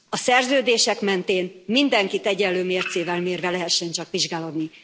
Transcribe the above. A szerződések mentén mindenkit egyenlő mércével mérve lehessen csak vizsgálódni.